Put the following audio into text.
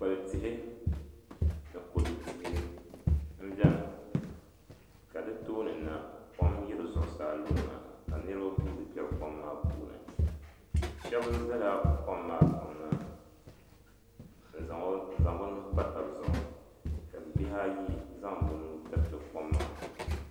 Kpikpal tihi ni kodu tihi m beni ka di tooni na kom yiri zuɣusaa lurina ka niriba guura n kpɛri kom maa puuni Sheba zala kom maa kpaŋ na n zaŋ bɛ nuhi pa taba zuɣu ka bihi ayi zaŋ bɛ nuu tiriti kom maa.